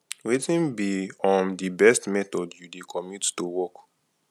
wetin be um di best method you dey commute to work